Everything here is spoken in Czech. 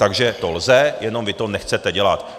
Takže to lze, jenom vy to nechcete dělat.